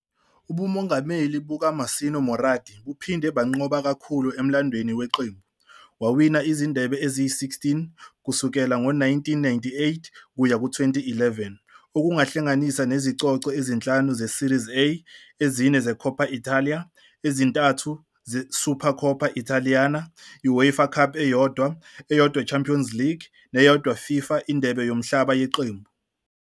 Ubumongameli bukaMassimo Moratti buphinde banqoba kakhulu emlandweni weqembu, wawina izindebe eziyi-16 kusukela ngo-1998 kuya ku-2011 okuhlanganisa nezicoco ezinhlanu zeSerie A, ezine Coppa Italia, ezintathu Supercoppa Italiana, UEFA Cup eyodwa, eyodwa Champions League, neyodwa FIFA INdebe Yomhlaba Yeqembu.